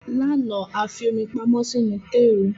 Lánàá, a fi omi pamọ́ sínú tééru